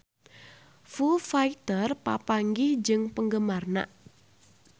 Foo Fighter papanggih jeung penggemarna